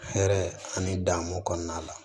Hɛrɛ ani danmu kɔnɔna la